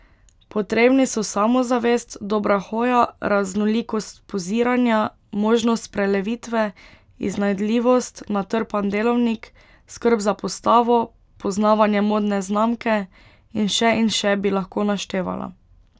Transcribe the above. Potrebni so samozavest, dobra hoja, raznolikost poziranja, možnost prelevitve, iznajdljivost, natrpan delovnik, skrb za postavo, poznavanje modne znamke in še in še bi lahko naštevala.